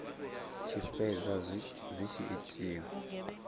tshi fhedza dzi tshi itiwa